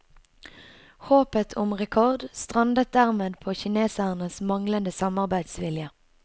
Håpet om rekord strandet dermed på kinesernes manglende samarbeidsvilje.